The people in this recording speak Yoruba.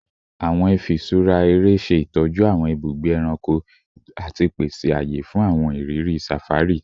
Awọn ifiṣura ere ṣe itọju awọn ibugbe ẹranko ati pese awọn aye fun awọn iriri safari